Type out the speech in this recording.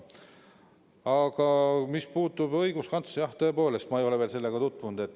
Aga mis puutub õiguskantsleri etteheitesse, siis jah, tõepoolest, ma ei ole veel sellega tutvunud.